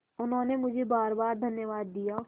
उन्होंने मुझे बारबार धन्यवाद दिया